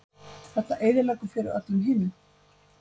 Þetta eyðileggur fyrir öllum hinum